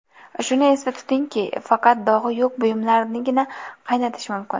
Shuni esda tutingki, faqat dog‘i yo‘q buyumlarnigina qaynatish mumkin.